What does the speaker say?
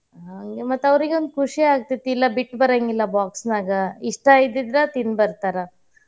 ಹಾಂಗೆ ಮತ್ತ್ ಅವ್ರಿಗೆ ಒಂದ್ ಖುಷಿ ಆಗ್ತೇತಿ ಇಲ್ಲಾ ಬಿಟ್ ಬರಾಂಗಿಲ್ಲಾ box ನಾಗ ಇಷ್ಟಾ ಇದ್ದಿದ್ರ ತಿಂದ್ ಬರ್ತಾರ.